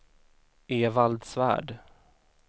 Evald Svärd